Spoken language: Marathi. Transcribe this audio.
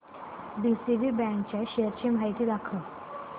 डीसीबी बँक च्या शेअर्स ची माहिती दाखव